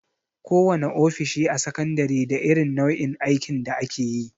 Kowana ofishi a sakandare da irin nau'in aikin da akeyi.